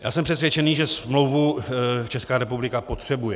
Já jsem přesvědčený, že smlouvu Česká republika potřebuje.